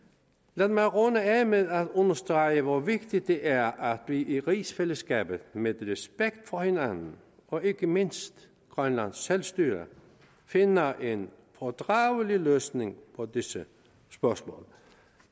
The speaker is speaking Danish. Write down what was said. lad mig runde af med at understrege hvor vigtigt det er at vi i rigsfællesskabet med respekt for hinanden og ikke mindst grønlands selvstyre finder en fordragelig løsning på disse spørgsmål